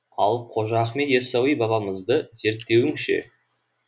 ал қожа ахмет яссауи бабамызды зерттеуің ше